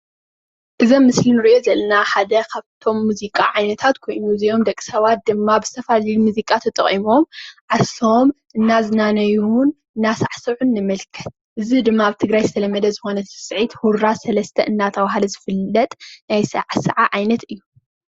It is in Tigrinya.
እዚ ኣብ ምስሊ ንሪኦ ዘለና ሓደ ካብ'ቶም ሙዚቃ ዓይነታት ኮይኑ እዚኦም ደቂ ሰባት ድማ ዝተፈላለዩ ሙዘቃ ተጠቂሞም ዓርሶም እናዝናነዩን እና ሳዕስዑን ንምልከት:: እዚ ድማ ኣብ ትግራይ ዝተለምደ ዝኮነ ስዕስዒት ሁራ ሰለስተ እናተብሃለ ዝፍለጥ ናይ ኣሰዓስዓ ዓይነት እዩ።